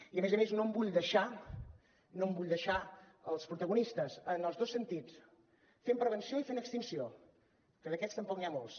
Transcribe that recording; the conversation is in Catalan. i a més a més no em vull deixar no em vull deixar els protagonistes en els dos sentits fent prevenció i fent extinció que d’aquests tampoc n’hi ha molts